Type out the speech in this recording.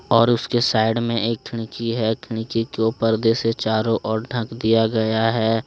और उसके साइड में एक खिड़की है खिड़की को पर्दे से चारों ओर ढक दिया गया है।